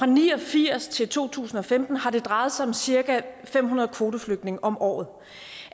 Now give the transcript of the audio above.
ni og firs til to tusind og femten har det drejet sig om cirka fem hundrede kvoteflygtninge om året